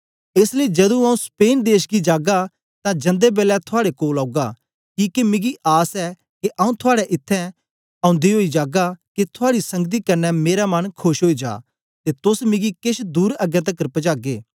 एस लेई जदू आऊँ स्पेन देश गी जागा तां जंदे बेलै थुआड़े कोल औगा किके मिगी आस ऐ के आऊँ थुआड़े इत्थैं ओदे ओई जागा के थुआड़ी संगति कन्ने मेरा मन खोश ओई जा तां तोस मिगी केछ दूर अगें तकर पजागे